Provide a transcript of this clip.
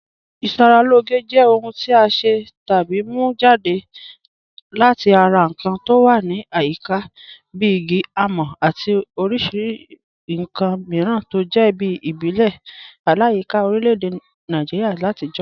Ìṣàralọ́gẹ̀ jẹ́ ọ̀hùn tí a ṣẹ́ tàbí mú jadẹ̀ láti ara nkàn tó wà ní àyíká bí ìgí, àmọ̀ àti oríṣì nkàn míràn tó jẹ̀ tí ìbílẹ̀ làyíkà orílẹ̀-èdè Nàìjíríà làtijọ̀.